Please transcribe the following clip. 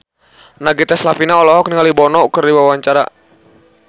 Nagita Slavina olohok ningali Bono keur diwawancara